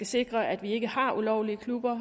sikre at vi ikke har ulovlige klubber